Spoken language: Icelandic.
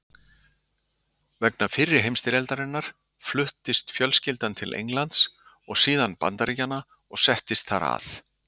Vegna fyrri heimsstyrjaldarinnar fluttist fjölskyldan til Englands og síðan Bandaríkjanna og settist þar að.